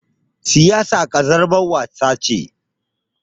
Siyasa ƙazamar wasa ce.